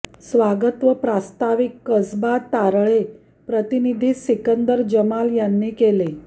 स्वागत व प्रास्ताविक कसबा तारळे प्रतिनिधी सिकंदर जमाल यांनी केले